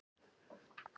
Ég er fínn þar.